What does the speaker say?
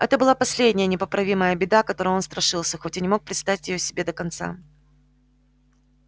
это была последняя непоправимая беда которой он страшился хоть и не мог представить её себе до конца